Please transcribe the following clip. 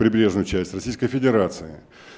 прибрежная часть российской федерации